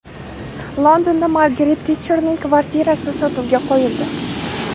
Londonda Margaret Tetcherning kvartirasi sotuvga qo‘yildi.